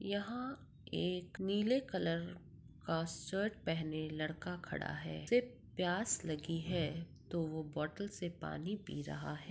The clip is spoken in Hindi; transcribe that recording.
यहाँ एक नीले कलर का शर्ट पेहेने लड़का खड़ा है उसे प्यास लगी है तो वह बोटल से पानी पी रहा है।